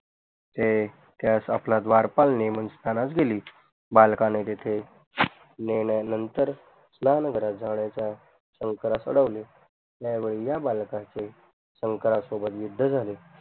ते त्यास आपल्या द्वारपाल नेमून स्नानास गेली बालकाणे तिथे नंतर स्नान शंकरास अडवले त्यावेडी या बलकाचे शंकरा सोबत युद्ध झाले